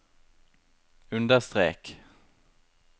understrek